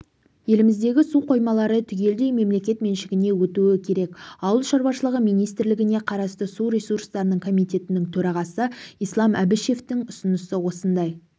еліміздегі су қоймалары түгелдей мемлекет меншігіне өтуі керек ауыл шаруашылығы министрлігіне қарасты су ресурстары комитетінің төрағасы ислам әбішевтің ұсынысы осындай